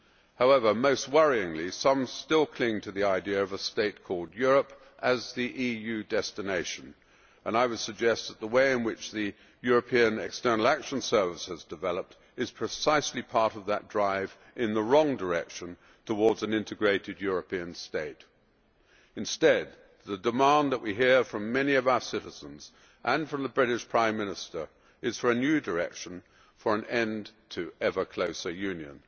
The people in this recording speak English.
However, most worryingly, some still cling to the idea of a state called Europe as the EU destination, and I would suggest that the way in which the European External Action Service has developed is precisely part of that drive in the wrong direction towards an integrated European state. Instead, the demand that we hear from many of our citizens and from the British Prime Minister is for a new direction, for an end to ever closer union.